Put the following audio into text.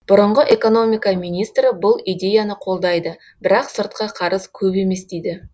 бұрынғы экономика министрі бұл идеяны қолдайды бірақ сыртқы қарыз көп емес дейді